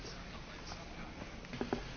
Yes, you are absolutely right.